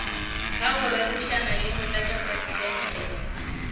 ga go rerišana le motlatšamopresidente